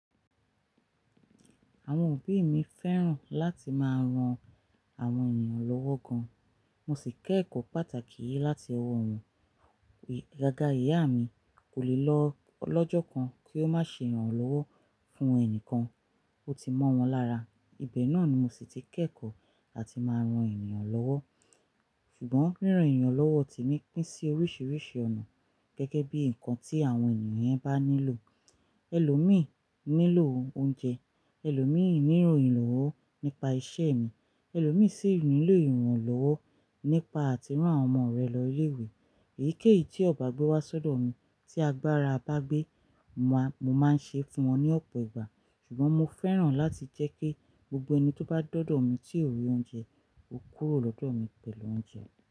Àwọn òbí mi fẹ́ràn láti máa ran àwọn ènìyàn lọ́wọ́ gan. Mo sì kẹ́ ẹ̀kọ́ pàtàkì yìí láti ọwọ́ wọn. Agaga ìyá mi, kò le lọ lọ́jọ́ kan kí ó má ṣe irànlọ́wọ́ fún ẹnìkan, ó ti mọ́ wọn lára. Ibẹ̀ náà ni mo sì ti kẹ́ ẹ̀kọ́ átì máa ran ènìyàn lọ́wọ́. Ṣùgbọ́n ríran ènìyàn lọ́wọ́ ti ní pín sí oríṣiríṣi ọ̀nà gẹ́gẹ́ bí ǹkan tí àwọn ènìyàn yẹn bá nílò. Ẹlòmíì nílò oúnjẹ, ẹlòmíì nílo ìrànlọ́wọ́ nípa isẹ́ ẹni, ẹlòmíì sì nílò ìrànlọ́wọ́ nípa àti rán àwọn ọmọ rẹ̀ lọ ilé ìwé. Èyíkéyìí tí ọ̀bágbé wa ṣọ̀dọ̀ mi tí agbára bá gbé, mo máa ń ṣe fún wọn ní ọ̀pọ̀ ìgbà. Ṣùgbọ́n mo fẹ́ràn láti jẹ́ kí gbogbo ẹni tó bá dọ̀dọ̀ mi tí ò rí oúnjẹ, ó kúrò lọ́dọ̀ mi pẹ̀lú oúnjẹ.